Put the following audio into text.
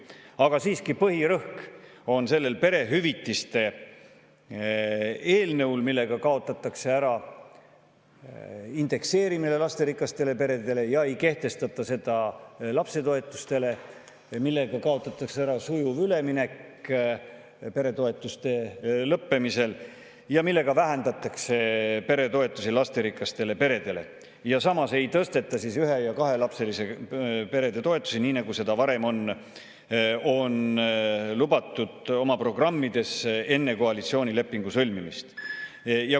Aga põhirõhk on siiski sellel perehüvitiste eelnõul, millega kaotatakse ära lasterikastele peredele indekseerimine ja ei kehtestata seda lapsetoetustele, kaotatakse ära sujuv üleminek peretoetuste lõppemisel ning vähendatakse lasterikaste perede toetusi, samuti ei tõsteta ühe- ja kahelapseliste perede toetusi, nii nagu seda varem oli oma programmides enne koalitsioonilepingu sõlmimist lubatud.